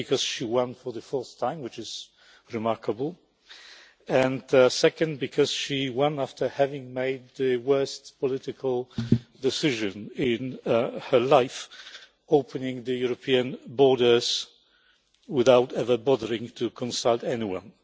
Firstly, because she won for the fourth time, which is remarkable secondly, because she won after having made the worst political decision of her life opening the European borders without bothering to consult anyone.